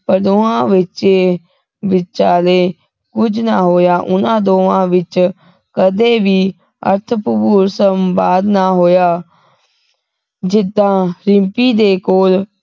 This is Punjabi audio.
ਪਰ ਦੋਵਾਂ ਵਿਚ ਵਿਚਾਲੇ ਕੁਝ ਨਾ ਹੋਇਆ ਉਹਨਾਂ ਦੋਵਾਂ ਵਿਚ ਕਦੇ ਵੀ ਅਰਥ ਭਰਪੂਰ ਸੰਵਾਦ ਨਾ ਹੋਇਆ ਜਿਦਾਂ ਰਿੰਪੀ ਦੇ ਕੋਲ